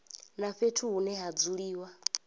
na fhethu hune ha dzuliwa